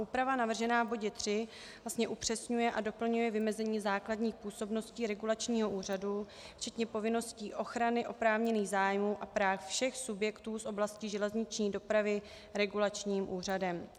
Úprava navržená v bodě 3 vlastně upřesňuje a doplňuje vymezení základních působností regulačního úřadu včetně povinností ochrany oprávněných zájmů a práv všech subjektů z oblasti železniční dopravy regulačním úřadem.